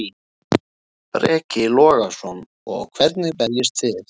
Breki Logason: Og hvernig berjist þið?